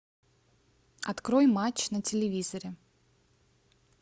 открой матч на телевизоре